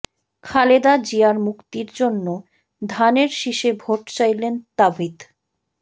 খালেদা জিয়ার মুক্তির জন্য ধানের শীষে ভোট চাইলেন তাবিথ